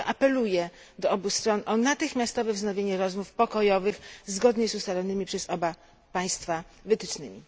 Dlatego apeluję do obu stron o natychmiastowe wznowienie rozmów pokojowych zgodnie z ustalonymi przez oba państwa wytycznymi.